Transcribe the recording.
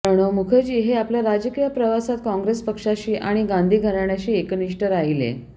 प्रणव मुखर्जी हे आपल्या राजकीय प्रवासात कॉंग्रेस पक्षाशी आणि गांधी घराण्याशी एकनिष्ठ राहिले